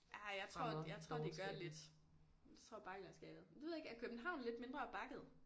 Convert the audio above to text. Ja jeg tror jeg tror det gør lidt. Tror bakkelandskabet det ved jeg ikke er København lidt mindre bakket?